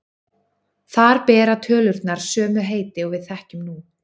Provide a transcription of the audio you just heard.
Þar bera tölurnar sömu heiti og við þekkjum nú.